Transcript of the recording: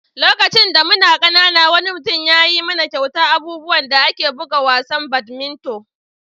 Lokacin da muna ƙanana, wani mutum ya yi mana kyautan abubuwan da ake bugan wasan badminton.